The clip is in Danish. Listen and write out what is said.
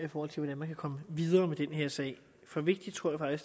hvordan man kan komme videre med den her sag for vigtigt tror jeg